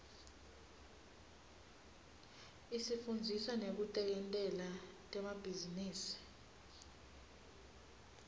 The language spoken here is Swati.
isifundzisa nekutentela temabhizinisi